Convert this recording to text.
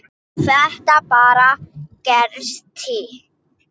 Þetta bara gerist.